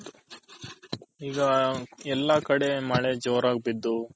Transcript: ಇಗ ಎಲ್ಲಾ ಕಡೆ ಮಳೆ ಜೋರಾಗ್ ಬಿದ್ದು